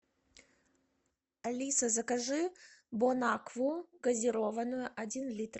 алиса закажи бон акву газированную один литр